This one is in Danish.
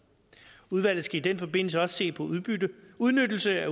udvalget skal i den forbindelse også se på udnyttelse af